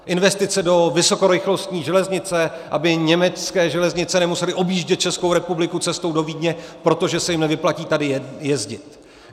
Investice do vysokorychlostní železnice, aby německé železnice nemusely objíždět Českou republikou cestou do Vídně, protože se jim nevyplatí tady jezdit.